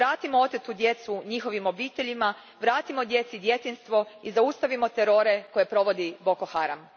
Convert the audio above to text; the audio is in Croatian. Vratimo otetu djecu njihovim obiteljima, vratimo djeci djetinjstvo i zaustavimo terore koje provodi Boko Haram.